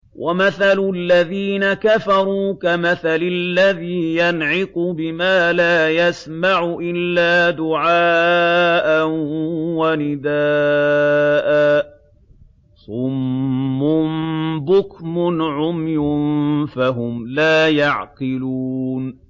وَمَثَلُ الَّذِينَ كَفَرُوا كَمَثَلِ الَّذِي يَنْعِقُ بِمَا لَا يَسْمَعُ إِلَّا دُعَاءً وَنِدَاءً ۚ صُمٌّ بُكْمٌ عُمْيٌ فَهُمْ لَا يَعْقِلُونَ